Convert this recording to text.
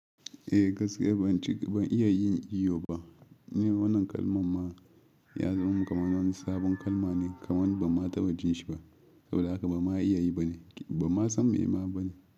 Eh gaskiya ban ci, ban iya yin iyo ba. Ni wannan kalman ma ya zama mun kaman wani sabon kalma ne kaman ba ma taɓa jin shi ba. Saboda haka ba ma iya yi ba ne, ba ma san me ma ba ne.